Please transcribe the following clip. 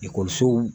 Ekɔlisow